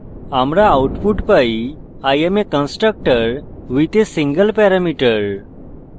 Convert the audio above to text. আমরা output পাই i am constructor with a single parameter